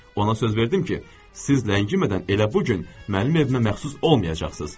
Ona söz verdim ki, siz ləngimədən elə bu gün mənim evimə məxsus olmayacaqsınız.